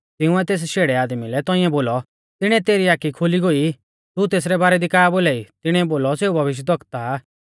तिंउऐ तेस शेड़ै आदमी लै तौंइऐ बोलौ तिणीऐ तेरी आखी खोली गोई तू तेसरै बारै दी का बोलाई तिणीऐ बोलौ सेऊ भविष्यक्ता आ